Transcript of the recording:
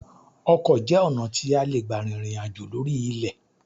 Ọkọ jẹ́ ọ̀nà tí a lè gbà rìnrìn àjò lórí ilẹ̀